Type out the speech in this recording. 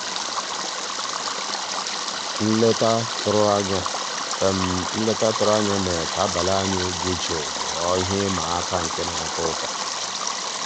nlétà tụ̀rụ̀ ànyá nlétà tụ̀rụ̀ ànyá mérè ká àbàlí ànyị́ dị́ jụ́ụ́ ghọ́ọ́ íhé ị́mà àká ná-àtọ́ ụtọ́.